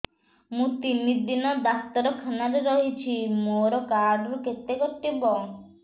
ମୁଁ ତିନି ଦିନ ଡାକ୍ତର ଖାନାରେ ରହିଛି ମୋର କାର୍ଡ ରୁ କେତେ କଟିବ